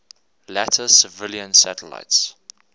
later civilian satellites